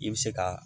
I bɛ se ka